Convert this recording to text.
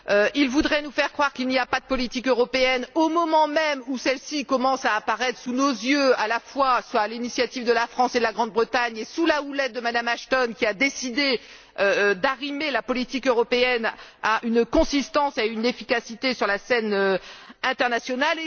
Ils voudraient nous faire croire qu'il n'y a pas de politique européenne, au moment même où celle ci commence à apparaître sous nos yeux, à la fois à l'initiative de la France et de la Grande Bretagne et sous la houlette de Mme Ashton, qui a décidé de doter la politique européenne d'une cohérence et d'une efficacité sur la scène internationale.